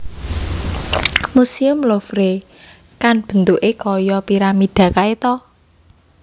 Musuem Louvre kan bentuke koyo piramida kae to?